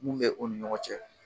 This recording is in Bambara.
mun bɛ u ni ɲɔgɔn cɛ.